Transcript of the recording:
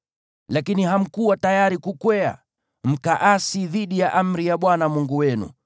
Lakini hamkuwa tayari kukwea, mkaasi dhidi ya amri ya Bwana Mungu wenu.